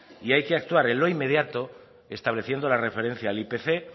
y hay que actuar en lo inmediato estableciendo las referencias al ipc